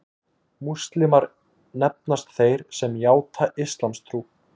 Múslímar nefnast þeir sem játa íslamstrú.